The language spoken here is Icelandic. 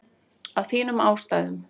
Af þínum ástæðum.